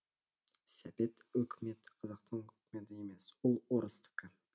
сәбет өкіметі қазақтың өкіметі емес ол орыстікі